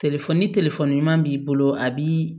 ni ɲuman b'i bolo a b'i